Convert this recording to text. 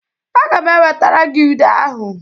Aga m ewetara gị ude ahụ.